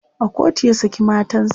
a kotu ya saki matansa